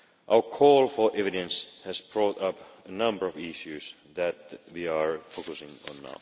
Our call for evidence has brought up a number of issues that we are now focusing on.